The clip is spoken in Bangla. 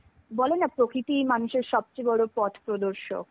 বলেনা প্রকৃতই সবচে বড় মানুষের পথ প্রদর্শক.